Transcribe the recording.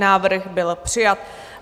Návrh byl přijat.